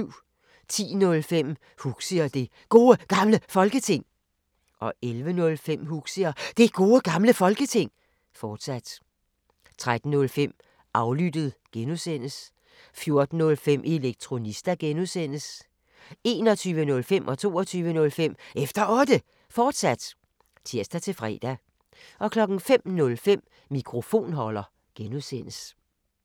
10:05: Huxi og Det Gode Gamle Folketing 11:05: Huxi og Det Gode Gamle Folketing, fortsat 13:05: Aflyttet G) 14:05: Elektronista (G) 21:05: Efter Otte, fortsat (tir-fre) 22:05: Efter Otte, fortsat (tir-fre) 05:05: Mikrofonholder (G)